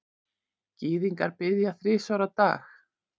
Gyðingar biðja þrisvar á dag.